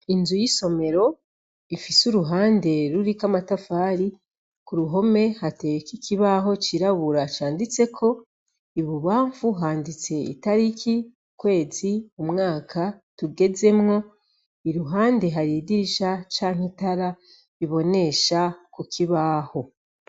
Inzu y’Isomero ifise uruhande ruriko amatafari, kuruhome hateyeko ikibaho cirabura canditseko, ibubanfu handitse Italiki, ukwezi , umwaka tugezemwo, iruhande hari idirisha canke itara bibonesha kukibaho.